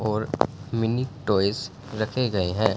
और mini toys रखे गए हैं।